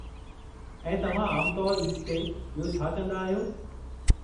ऐं तव्हां आमु तौरु ईद ते ॿियो छा कंदा आहियो?